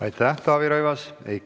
Aitäh, Taavi Rõivas!